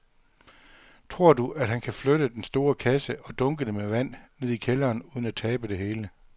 Tror du, at han kan flytte den store kasse og dunkene med vand ned i kælderen uden at tabe det hele?